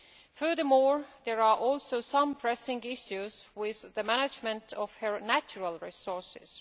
Furthermore, there are also some pressing issues with the management of her natural resources.